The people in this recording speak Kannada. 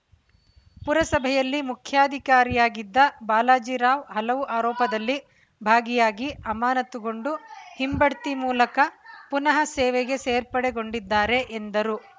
ಪುರಸಭೆಯಲ್ಲಿ ಮುಖ್ಯಾಧಿಕಾರಿಯಾಗಿದ್ದ ಬಾಲಾಜಿ ರಾವ್‌ ಹಲವು ಆರೋಪದಲ್ಲಿ ಭಾಗಿಯಾಗಿ ಅಮಾನತುಗೊಂಡು ಹಿಂಬಡ್ತಿ ಮೂಲಕ ಪುನಃ ಸೇವೆಗೆ ಸೇರ್ಪಡೆಗೊಂಡಿದ್ದಾರೆ ಎಂದರು